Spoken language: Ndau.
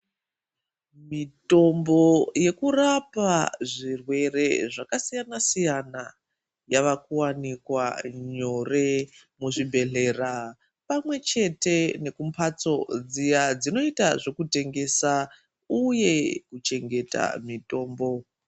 Mitombo yekurapa zvirwere zvakasiyana siyana hava kurwapwa nyore kuzvibhedhlera pamwe chete nekumbatso dziya dzinoita zvokutengesa uye kuchengeta mitombo.